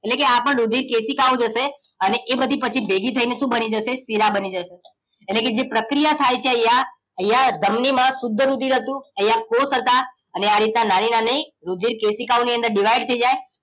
એટલે આપણ રુધિર કેશીકા ઓ જશે અને એ બધી પછી ભેગી થઈ ને શું બની જશે શીરા બની જશે એટલે કે જે પ્રક્રિયા થાય છે અહિયાં અહિયાં ધમની માં શુદ્ધ રુધિર હતું અહિયાં કોષ હતા અને આરીતે નાની નાની રુધિર કેશીકાઓની અંદર ડિવાઈડ થઈ જાય